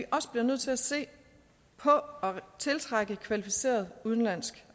også bliver nødt til at se på at tiltrække kvalificeret udenlandsk